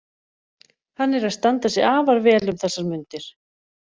Hann er að standa sig afar vel um þessar mundir.